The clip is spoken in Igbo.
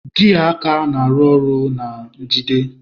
Gia aka na-arụ ọrụ na njigide.